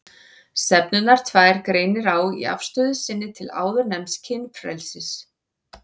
Stefnurnar tvær greinir á í afstöðu sinni til áðurnefnds kynfrelsis.